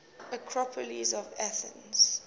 acropolis of athens